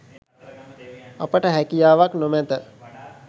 අපට හැකියාවක් නොමැත.